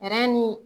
ni